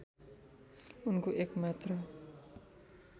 उनको एक मात्र